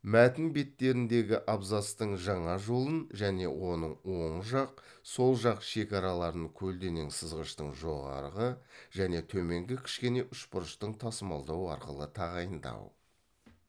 мәтін беттеріндегі абзацтың жаңа жолын және оның оң жақ сол жақ шекараларын көлденең сызғыштың жоғарғы және төменгі кішкене үшбұрыштың тасмалдау арқылы тағайындау